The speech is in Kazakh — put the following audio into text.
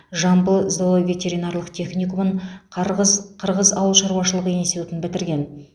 жамбыл зооветеринарлық техникумын қарғыз қырғыз ауыл шаруашылығы институтын бітірген